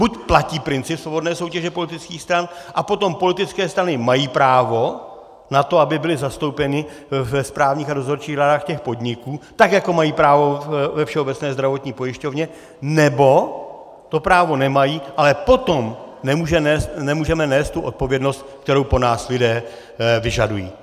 Buď platí princip svobodné soutěže politických stran, a potom politické strany mají právo na to, aby byly zastoupeny ve správních a dozorčích radách těch podniků, tak jako mají právo ve Všeobecné zdravotní pojišťovně, nebo to právo nemají, ale potom nemůžeme nést tu odpovědnost, kterou po nás lidé vyžadují.